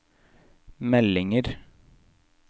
meldinger